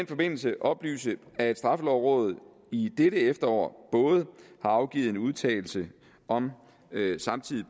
forbindelse oplyse at straffelovrådet i dette efterår både har afgivet en udtalelse om samtidig